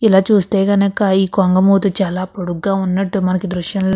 ఇలా చూస్తే గనక ఈ కొంగ మూతి చాలా పొడుగ్గా ఉన్నట్టు మనకి దృశ్యం లో --